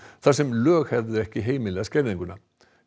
þar sem lög hefðu ekki heimilað skerðinguna